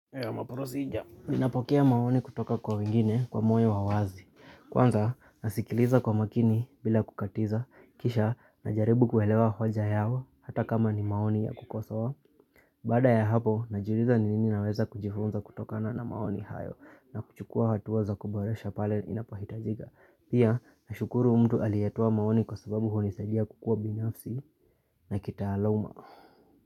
My procedure. Ninapokea maoni kutoka kwa wengine kwa moyo wa wazi. Kwanza nasikiliza kwa makini bila kukatiza. Kisha najaribu kuelewa hoja yao hata kama ni maoni ya kusowa. Baada ya hapo najuliza nini naweza kujifunza kutokana na maoni hayo. Na kuchukua hatua za kuboresha pale inapohitajika. Pia nashukuru mtu alietowa maoni kwa sababu hunisaidia kukua binafsi na kitaaluma.